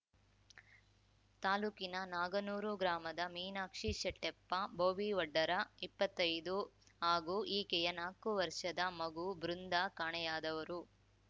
ತಾಲೂಕಿನ ನಾಗನೂರ ಗ್ರಾಮದ ಮೀನಾಕ್ಷಿ ಶೆಟ್ಟೆಪ್ಪ ಬೋವಿವಡ್ಡರಇಪ್ಪತ್ತೈದು ಹಾಗೂ ಈಕೆಯ ನಾಕು ವರ್ಷದ ಮಗು ಬೃಂದಾ ಕಾಣೆಯಾದವರು